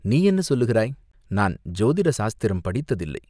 "நீ என்ன சொல்லுகிறாய்?" "நான் ஜோதிட சாஸ்திரம் படித்ததில்லை.